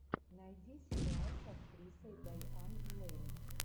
найди сериал с актрисой дайан лейн